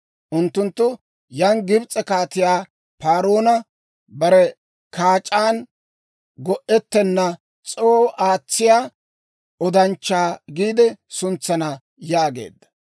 Unttunttu yaan Gibs'e kaatiyaa paroona, ‹Bare kaac'aan go"etenan c'oo aatsiyaa odanchchaa› giide suntsana» yaageedda.